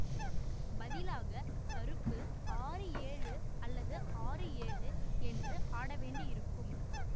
பதிலாக கருப்பு ஆறு ஏழு அல்லது ஆறு ஏழு என்று ஆடவேண்டியிருக்கும்